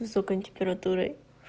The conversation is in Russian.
высокая температура